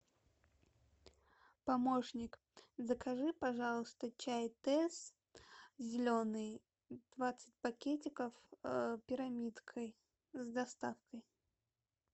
помощник закажи пожалуйста чай тесс зеленый двадцать пакетиков пирамидкой с доставкой